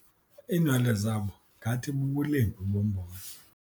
Iinwele zabo ngathi bubulembu bombona.